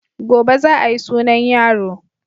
Gobe za a yi sunan yaro.